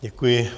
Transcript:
Děkuji.